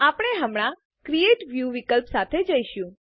આપણે હમણાં create view વિકલ્પ સાથે જઈશું